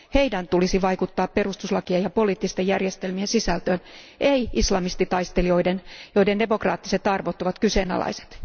Heidän tulisi vaikuttaa perustuslakiin ja poliittisten järjestelmien sisältöön, ei islamistitaistelijoiden, joiden demokraattiset arvot ovat kyseenalaiset.